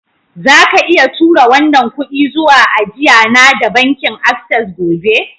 Zaka iya tura wannan kudi zuwa ajia na da bankin access gobe?